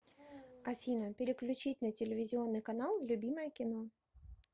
афина переключить на телевизионный канал любимое кино